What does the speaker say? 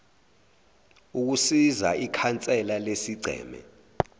ukusiza ikhansela lesigceme